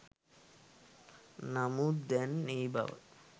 නමුත් දැන් ඒ බව